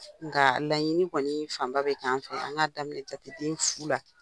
Nga laɲini kɔni fan ba bɛ kɛ an fɛ an ka daminɛ jateden fu la.